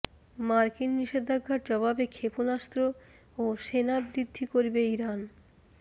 মার্কিন নিষেধাজ্ঞার জবাবে ক্ষেপণাস্ত্র ও সেনা বৃদ্ধি করবে ইরান